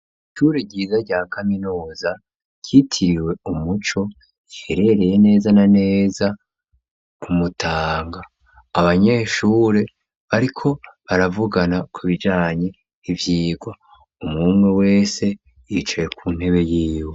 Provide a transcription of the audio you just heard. Ishure ryiza rya kaminuza ryitiriwe umuco iherereye neza na neza ku Mutanga, abanyeshure bariko baravugana ku bijanye ivyigwa. Umwumwe wese yicaye ku ntebe yiwe.